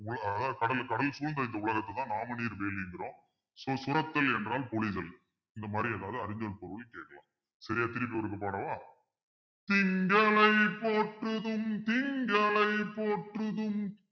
அஹ் கடல் கடல் சூழ்ந்த இந்த உலகத்த தான் நாமநீர் வேலிங்கிறோம் so சுரத்தல் என்றால் பொழிதல் இந்த மாறி எதாவது அறிஞ்சல் பொருள் கேக்கலாம் சரியா திருப்பி ஒருக்கா பாடவா திங்களை போற்றுதும் திங்களை போற்றுதும்